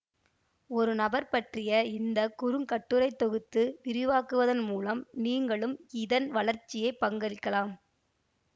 ஒரு நபர் பற்றிய இந்த குறுங்கட்டுரை தொகுத்து விரிவாக்குவதன் மூலம் நீங்களும் இதன் வளர்ச்சியில் பங்களிக்கலாம்